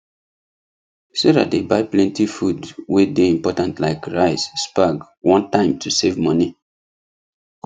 sarah dey buy plenty food wey dey important like rice spag one time to save moni